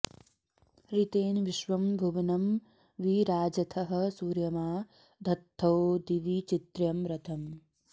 ऋ॒तेन॒ विश्वं॒ भुव॑नं॒ वि रा॑जथः॒ सूर्य॒मा ध॑त्थो दि॒वि चित्र्यं॒ रथ॑म्